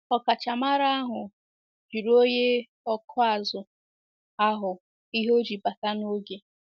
Ọkachamara ahụ jụrụ onye ọkụ azụ̀ ahụ ihe o ji bata n’oge.